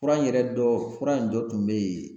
Fura in yɛrɛ dɔ fura in dɔ tun bɛ yen